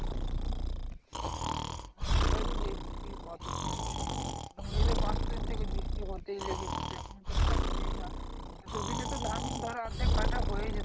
হ্যাঁ সেটাই তো দেখছি কতদিন থেকে মোটামুটি তো পাঁচ ছয় দিন থেকে বৃষ্টি হতেই লেগেছে তো এখনো তো ছাড়ছেই না এত দিন এ তো ধান ধরো অর্ধেক কাটা হয়েই যেত